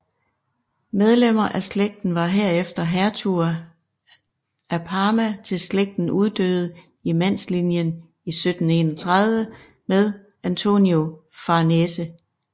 Medlemmer af slægten var herefter hertuger af Parma til slægten uddøde i mandslinjen i 1731 med Antonio Farnese